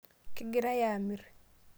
kegirae aamirr